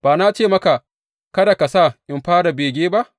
Ba na ce maka, Kada ka sa in fara bege ba’?